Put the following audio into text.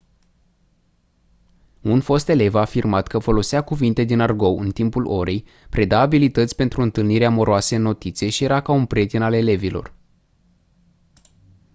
un fost elev a afirmat că folosea cuvinte din argou în timpul orei preda abilități pentru întâlniri amoroase în notițe și era ca un «prieten» al elevilor